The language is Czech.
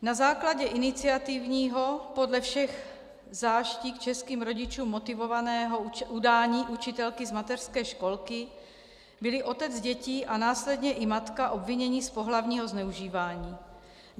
Na základě iniciativního, podle všech záští k českým rodičům motivovaného udání učitelky z mateřské školky byli otec dětí a následně i matka obviněni z pohlavního zneužívání.